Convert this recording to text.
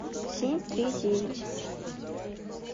семь три девять